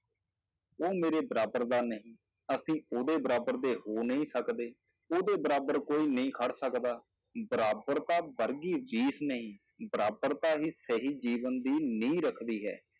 ਉਹ ਮੇਰੇ ਬਰਾਬਰ ਦਾ ਨਹੀਂ, ਅਸੀਂ ਉਹਦੇ ਬਰਾਬਰ ਦੇ ਹੋ ਨਹੀਂ ਸਕਦੇ, ਉਹਦੇ ਬਰਾਬਰ ਕੋਈ ਨਹੀਂ ਖੜ ਸਕਦਾ, ਬਰਾਬਰਤਾ ਵਰਗੀ ਨਹੀਂ ਬਰਾਬਰਤਾ ਹੀ ਸਹੀ ਜੀਵਨ ਦੀ ਨੀਂਹ ਰੱਖਦੀ ਹੈ।